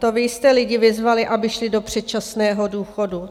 To vy jste lidi vyzvali, aby šli do předčasného důchodu.